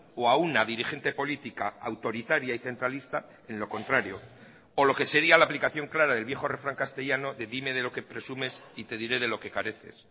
o a una dirigente política autoritaria y centralista en lo contrario o lo que sería la aplicación clara del viejo refrán castellano de dime de lo que presumes y te diré de lo que careces